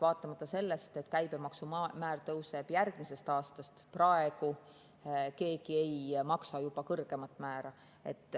Vaatamata sellele, et käibemaksumäär järgmisest aastast tõuseb, praegu keegi ei maksa juba kõrgemat määra.